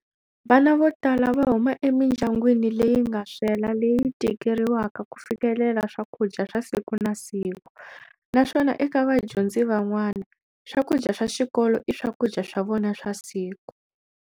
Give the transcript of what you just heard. Vana vo tala va huma emindyangwini leyi nga swela leyi tikeriwaka ku fikelela swakudya swa siku na siku, naswona eka vadyondzi van'wana, swakudya swa xikolo i swakudya swa vona swa siku.